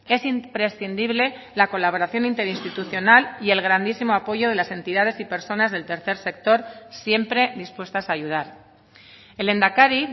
es imprescindible la colaboración interinstitucional y el grandísimo apoyo de las entidades y personas del tercer sector siempre dispuestas a ayudar el lehendakari